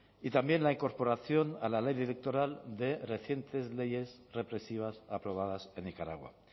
y también la incorporación a la ley electoral de reciente leyes represivas aprobadas en nicaragua